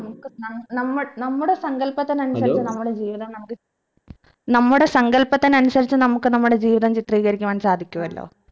നമുക്ക് നം നമ്മൾ നമ്മുടെ സങ്കൽപ്പത്തിനനുസരിച് നമ്മളെ ജീവിതം നമുക് നമ്മുടെ സങ്കൽപ്പത്തിനനുസിച് നമുക്ക് നമ്മുടെ ജീവിതം ചിത്രീകരിക്കുവാൻ സാധിക്കുവല്ലോ